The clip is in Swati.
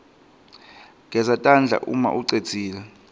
geza tandla umaucedzile